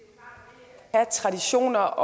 har